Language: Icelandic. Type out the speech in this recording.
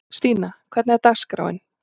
Stína, hvernig er dagskráin?